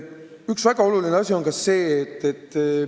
Üks väga oluline töölõik on kindlasti ennetustöö.